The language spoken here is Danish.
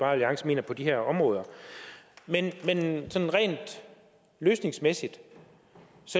alliance mener på de her områder men sådan rent løsningsmæssigt